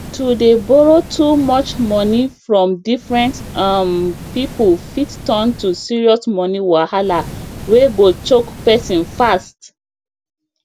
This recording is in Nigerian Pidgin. to dey borrow too much money from different um people fit turn to serious money wahala wey go choke person fast